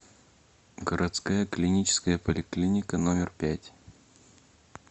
городская клиническая поликлиника номер пять